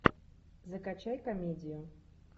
закачай комедию